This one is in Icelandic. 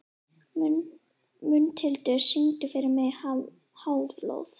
Mundhildur, syngdu fyrir mig „Háflóð“.